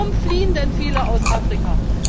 Warum fliehen denn viele aus Afrika?